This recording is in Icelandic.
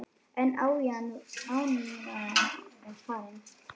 En ánægjan var fjarri.